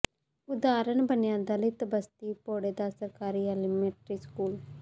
ਉਦਾਹਰਣ ਬਣਿਆ ਦਲਿਤ ਬਸਤੀ ਭੋੜੇ ਦਾ ਸਰਕਾਰੀ ਐਲੀਮੈਂਟਰੀ ਸਕੂਲ